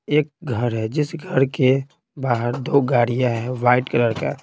एक घर है जिस घर के बाहर दो गाड़ियाँ हैं वाइट कलर का--